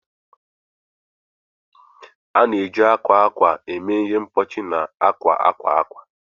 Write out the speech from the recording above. A na-eji akwa akwa eme ihe mkpuchi na akwa akwa akwa.